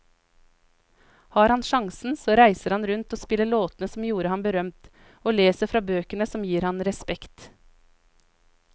Har han sjansen så reiser han rundt og spiller låtene som gjorde ham berømt, og leser fra bøkene som gir ham respekt.